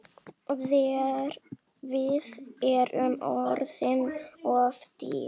Við erum orðin of dýr.